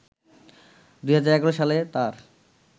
২০১১ সালে তাঁর